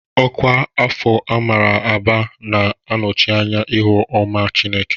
Ọkwa Afọ Amara n'Aba na-anọchi anya ihu ọma Chineke.